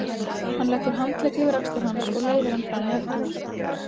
Hann leggur handlegg yfir axlir hans og leiðir hann fram í eldhús.